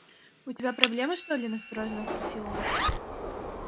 у тебя проблемы что ли настороженно спросил он